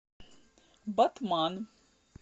батман